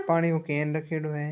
पानी को कैन रखेड़ो है।